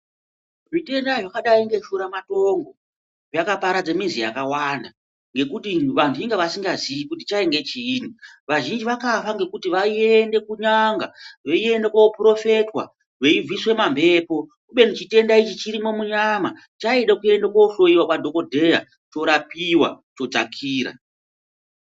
Zvitenda zvakadai ngeshuramatongo zvakaparadza mizi yakawanda ngekuti vantu inga vasingazivi kuti chaive chii, vazhinji vakafa ngekuti vaiende kun'anga, veiende kunoporofitwa, veibviswa mamhepo kubeni chitenda ichi chirimo munyama, chaida kunohloyiwa kwadhokodheya, chorapiwa, chodzakira.